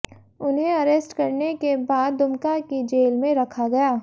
उन्हें अरेस्ट करने के बाद दुमका की जेल में रखा गया